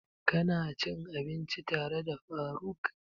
Ka na cin abinci tare da faruk?